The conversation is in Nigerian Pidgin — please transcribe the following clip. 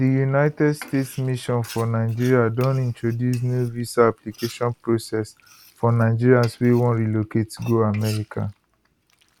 di united states mission for nigeria don introduce new visa application process for nigerians wey wan relocate go america